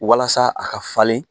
Walasa a ka falen